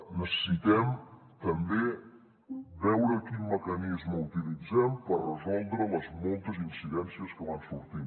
necessitem també veure quin mecanisme utilitzem per resoldre les moltes incidències que van sortint